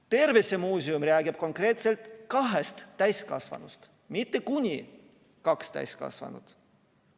Tervisemuuseum räägib konkreetselt kahest täiskasvanust, mitte kuni kaks täiskasvanut.